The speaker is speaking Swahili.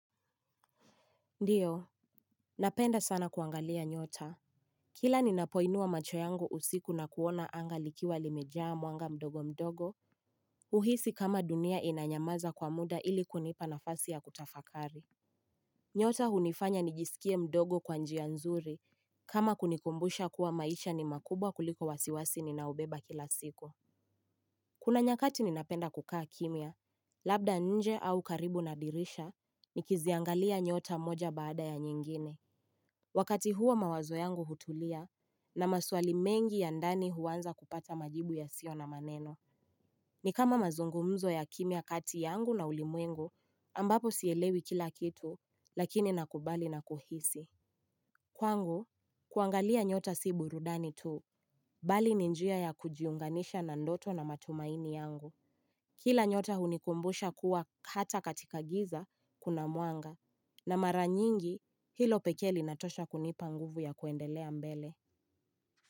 Ndiyo, napenda sana kuangalia nyota. Kila ninapoinua macho yangu usiku na kuona anga likiwa limejaa mwanga mdogo mdogo. Uhisi kama dunia inanyamaza kwa muda ili kunipa nafasi ya kutafakari. Nyota hunifanya nijisikie mdogo kwa njia nzuri kama kunikumbusha kuwa maisha ni makubwa kuliko wasiwasi ninaobeba kila siku. Kuna nyakati ninapenda kukaa kimya, labda nje au karibu nabdirisha, nikiziangalia nyota moja baada ya nyingine. Wakati huo mawazo yangu hutulia na maswali mengi ya ndani huwanza kupata majibu yasio na maneno. Ni kama mazungumzo ya kimia kati yangu na ulimwengu ambapo sielewi kila kitu lakini nakubali na kuhisi. Kwangu, kuangalia nyota si burudani tu, bali ni njia ya kujiunganisha na ndoto na matumaini yangu. Kila nyota hunikumbusha kuwa hata katika giza kuna mwanga na mara nyingi hilo pekee linatosha kunipa nguvu ya kuendelea mbele.